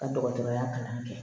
Ka dɔgɔtɔrɔya kalan kɛ